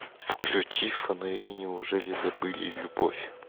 включи фонари неужели забыли любовь